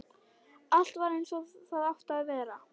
Allt var eins og það átti að vera.